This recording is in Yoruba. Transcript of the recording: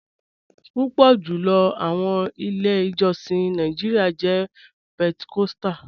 Pupọ julọ awọn ilẹ̀-ijọ̀sìn ni Nàìjíríà jẹ̀ Pentecostal.